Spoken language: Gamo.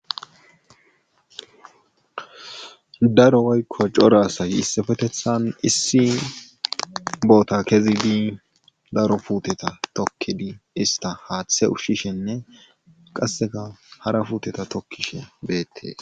Daro woyko cora asay issipetithan issi bota kezid daro puteta tokido ista haathe ushishenne qase hara puuteta tokishe betes.